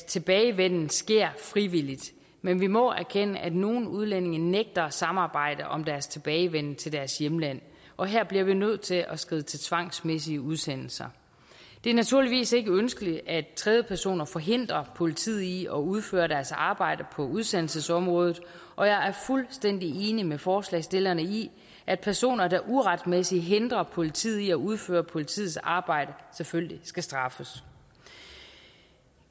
tilbagevenden sker frivilligt men vi må erkende at nogle udlændinge nægter at samarbejde om deres tilbagevenden til deres hjemland og her bliver vi nødt til at skride til tvangsmæssige udsendelser det er naturligvis ikke ønskeligt at tredjepersoner forhindrer politiet i at udføre deres arbejde på udsendelsesområdet og jeg er fuldstændig enig med forslagsstillerne i at personer der uretmæssigt hindrer politiet i at udføre politiets arbejde selvfølgelig skal straffes